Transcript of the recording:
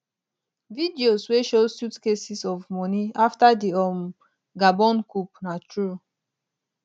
videos wey show suitcases of money afta di um gabon coup na true